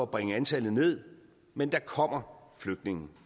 bringe antallet ned men der kommer flygtninge